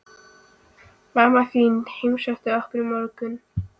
Mamma þín heimsótti okkur í morgun.